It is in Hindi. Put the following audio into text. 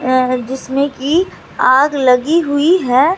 अ जिसमें की आग लगी हुई है।